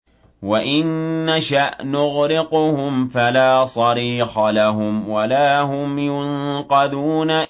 وَإِن نَّشَأْ نُغْرِقْهُمْ فَلَا صَرِيخَ لَهُمْ وَلَا هُمْ يُنقَذُونَ